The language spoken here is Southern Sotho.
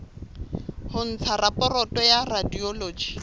ho ntsha raporoto ya radiology